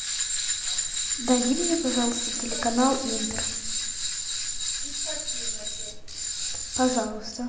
найди мне пожалуйста телеканал интер пожалуйста